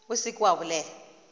o se ke wa bolela